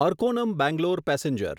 Arakkonam Bangalore passenger